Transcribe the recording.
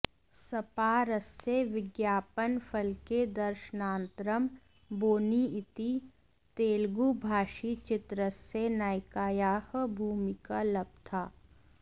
स्पारस्य विज्ञापनफलके दर्शनान्तरम् बोनि इति तेलुगुभाषीचित्रस्य नायिकायाः भूमिका लब्धा